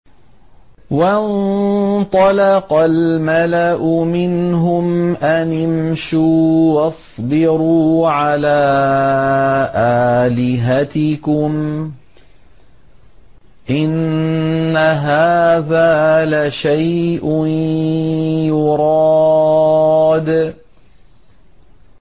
وَانطَلَقَ الْمَلَأُ مِنْهُمْ أَنِ امْشُوا وَاصْبِرُوا عَلَىٰ آلِهَتِكُمْ ۖ إِنَّ هَٰذَا لَشَيْءٌ يُرَادُ